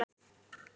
Hún er